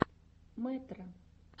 мэтро